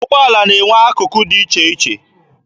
Ụgbọala na-enwe akụkụ dị iche iche.